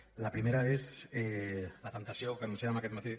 la primera és la temptació que anunciàvem aquest matí